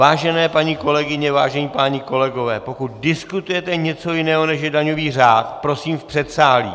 Vážené paní kolegyně, vážení páni kolegové, pokud diskutujete něco jiného, než je daňový řád, prosím v předsálí!